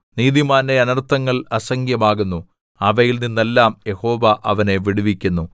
നീതിമാന്റെ അനർത്ഥങ്ങൾ അസംഖ്യമാകുന്നു അവയിൽ നിന്നെല്ലാം യഹോവ അവനെ വിടുവിക്കുന്നു